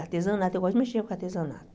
Artesanato, eu gosto de mexer com artesanato.